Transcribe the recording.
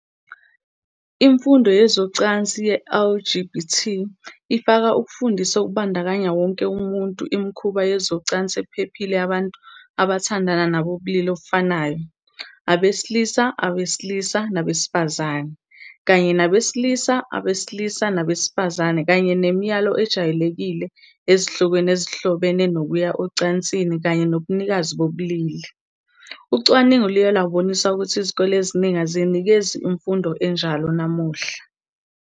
Imfundo yezocansi ye-LGBT ifaka ukufundisa okubandakanya wonke umuntu imikhuba yezocansi ephephile yabantu abathandana nabobulili obufanayo, abesilisa abesilisa nabesifazane, kanye nabesilisa abesilisa nabesifazane kanye nemiyalo ejwayelekile ezihlokweni ezihlobene nokuya ocansini kanye nobunikazi bobulili. Ucwaningo luye lwabonisa ukuthi izikole eziningi aziyinikezi imfundo enjalo namuhla.